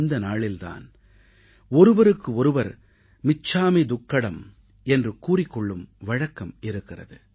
இந்த நாளில் தான் ஒருவருக்கு ஒருவர் மிச்சாமீ துக்கடம் என்று கூறிக் கொள்ளும் வழக்கம் இருக்கிறது